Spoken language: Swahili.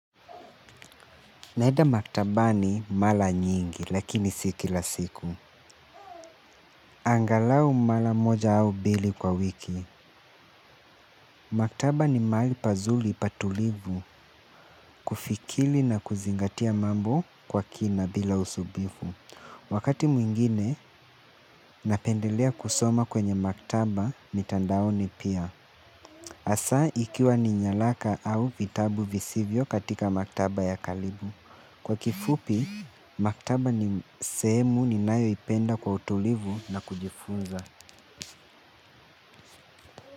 Naenda maktabani mara nyingi lakini si kila siku. Angalau mara moja au mbili kwa wiki. Maktaba ni mahali pazuri patulivu kufikiri na kuzingatia mambo kwa kina bila usumbufu. Wakati mwingine napendelea kusoma kwenye maktaba mitandaoni pia. Hasa ikiwa ni nyaraka au vitabu visivyo katika maktaba ya karibu. Kwa kifupi, maktaba ni sehemu ninayo ipenda kwa utulivu na kujifunza.